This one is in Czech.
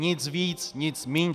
Nic víc, nic míň.